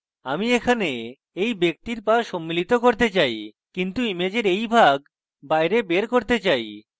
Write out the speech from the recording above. আমি এখানে এই ব্যক্তির পা সম্মিলিত করতে চাই কিন্তু ইমেজের এই ভাগ বাইরে বের করতে চাই